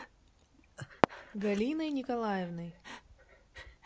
галиной николаевной